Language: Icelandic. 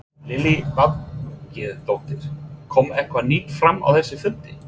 Lillý Valgerður: Kom eitthvað nýtt fram á þessum fundi?